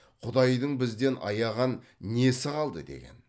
құдайдың бізден аяған несі қалды деген